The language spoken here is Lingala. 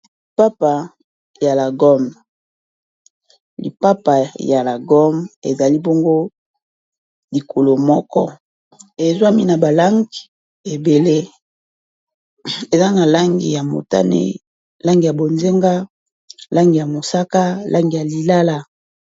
Lipapa ya la gomme, ipapa ya lagomme ezali bongo likolo moko ezwami na ba lange ebele eza na langi ya motane, langi ya bonzenga, langi ya mosaka langi ya lilala.